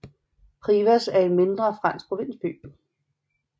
Privas er en mindre fransk provinsby